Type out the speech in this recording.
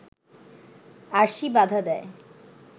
আরশি বাধা দেয়